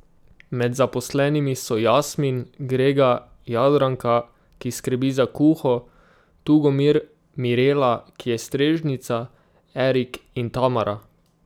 Med zaposlenimi so Jasmin, Grega, Jadranka, ki skrbi za kuho, Tugomir, Mirela, ki je strežnica, Erik in Tamara.